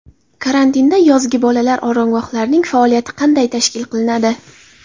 Karantinda yozgi bolalar oromgohlarining faoliyati qanday tashkil qilinadi?